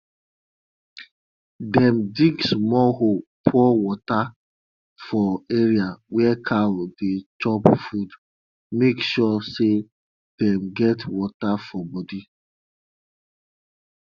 dem dig small hole pour water for areas where cow dey chop food make sure say dem get water for body